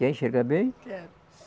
Quer enxergar bem? Quero